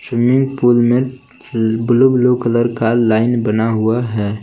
Swimming pool में blue blue colour का line बना हुआ है।